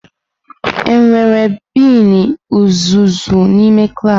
Enwere bini uzuzu n'ime klaasị.